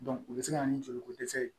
u bɛ se ka na ni joliko dɛsɛ ye